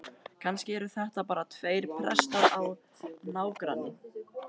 Kannski eru þetta bara tveir prestar á nágranna